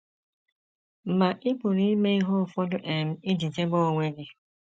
Ma ị pụrụ ime ihe ụfọdụ um iji chebe onwe gị.